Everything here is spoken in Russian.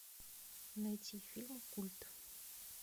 найти фильм культ